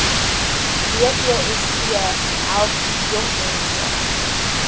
besp help jongmense